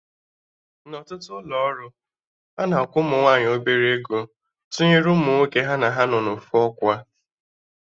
Na ọtụtụ ụlọ ọrụ, ana akwụ ụmụ nwaanyị obere ego tụnyere nwoke ha na ha nọ na ofu ọkwa